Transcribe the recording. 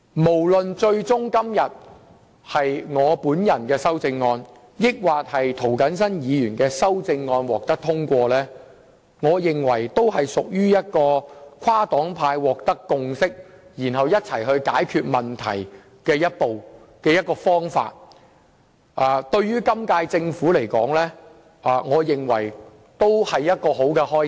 不論最終是我還是涂謹申議員的修正案獲得通過，我認為也是跨黨派取得共識和共同解決問題的重要一步，對今屆政府而言也是一個好開始。